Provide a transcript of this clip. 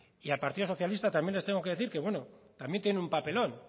y al partido socialista también le tengo que decir que también tiene un papelón